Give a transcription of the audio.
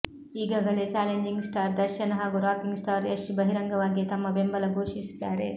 ಈಗಾಗಲೇ challenging star Darshan ಹಾಗೂ rocking star Yash ಬಹಿರಂಗವಾಗಿಯೇ ತಮ್ಮ ಬೆಂಬಲ ಘೋಷಿಸಿದ್ದಾರೆ